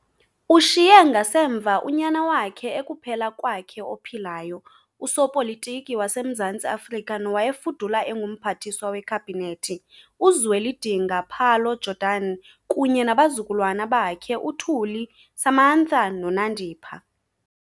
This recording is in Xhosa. Ushiye ngasemva unyana wakhe ekuphela kwakhe ophilayo, usopolitiki waseMzantsi Afrika nowayefudula enguMphathiswa weKhabinethi , uZweledinga Pallo Jordan kunye nabazukulwana bakhe uThuli, Samantha noNandipha.